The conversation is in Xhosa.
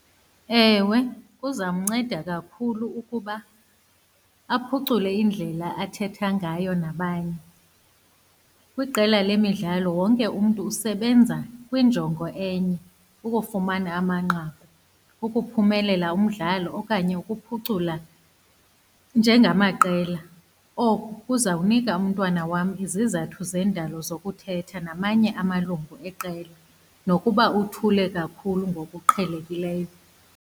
Ewe, kuzawumnceda kakhulu ukuba aphucule indlela athetha ngayo nabanye. Kwiqela lemidlalo wonke umntu usebenza kwinjongo enye, ukufumana amanqaku, ukuphumelela umdlalo okanye ukuphucula njengamaqela. Oku kuzawunika umntwana wam izizathu zendalo zokuthetha namanye amalungu eqela, nokuba uthule kakhulu ngokuqhelekileyo.